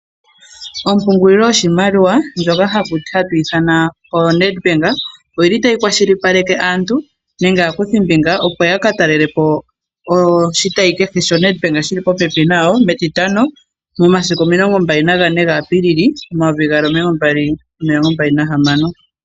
Ompungulilo yoshimaliwa ndjono haku tiwa ONedbank, oyili tayi kwashilipaleke aakuthi mbinga opo yakatalelepo oshitayi kehe shoNedbank shili popepi nayo. Sho tashi ka kala etitano omasiku 24 ga Apilili 2026.